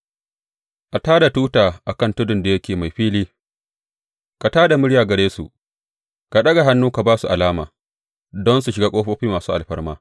A tā da tuta a kan tudun da yake mai fili, ka tā da murya gare su; ka ɗaga hannu ka ba su alama don su shiga ƙofofi masu alfarma.